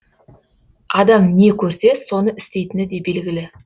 адам не көрсе соны істейтіні де белгілі